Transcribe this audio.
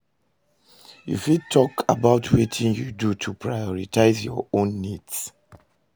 you fit talk about wetin you do to prioritize your own needs?